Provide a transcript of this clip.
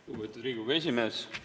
Lugupeetud Riigikogu esimees!